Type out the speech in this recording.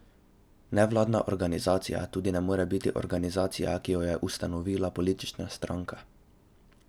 Nevladna organizacija tudi ne more biti organizacija, ki jo je ustanovila politična stranka.